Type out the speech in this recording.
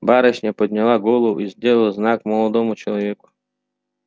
барышня подняла голову и сделала знак молодому человеку